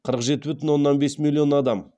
қырық жеті бүтін оннан бес миллион адам